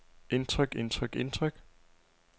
indtryk indtryk indtryk